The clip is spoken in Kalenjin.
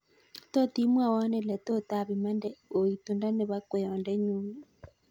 Tot imwowon ele tot apimande oitundo nepo kweyondenyun